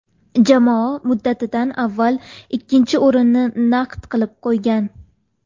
Jamoa muddatidan avval ikkinchi o‘rinni naqd qilib qo‘ygan.